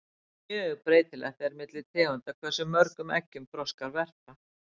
mjög breytilegt er milli tegunda hversu mörgum eggjum froskar verpa